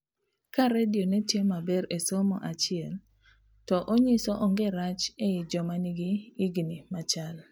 ka radio netiyo maber e somo achiel to onyiso onge rach ei joma nigi igni machal